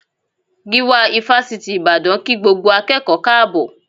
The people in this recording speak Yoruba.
Gíwá Ifásitì Ìbàdàn kí gbogbo akẹ́kọ̀ọ́ káàbọ̀